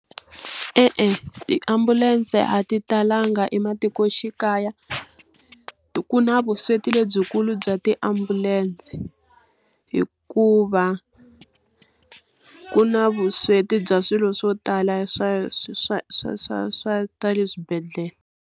E-e, tiambulense a ti talanga ematikoxikaya, ku na vusweti lebyikulu bya tiambulense hikuva ku na vusweti bya swilo swo tala swa swa swa swa swa swa le swibedhlele.